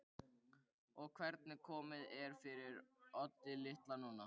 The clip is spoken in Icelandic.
Og hvernig komið er fyrir Oddi litla núna.